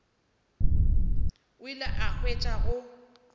o ile a hwetša go